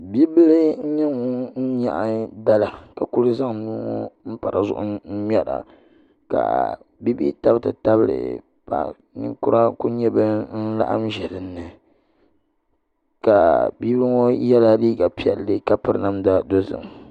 Bia bil n nyɛ ŋun nyaɣa dala ka ku zaŋ nuu ŋo n pa dizuɣu ŋmɛra ka bia bihi tabi ti tabili paɣa ninkura ku nyɛ bin laɣam ʒɛ dinni ka bia ŋo yɛla liiga piɛlli ka piri namda dozim